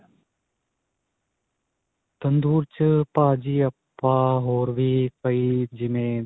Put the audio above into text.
ਤੰਦੂਰ ਚ ਭਾਜੀ ਆਪਾਂ ਹੋਰ ਵੀ ਕਈ ਜਿਵੇਂ